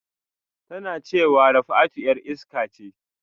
Tana cewa Rafatu 'yar iska ce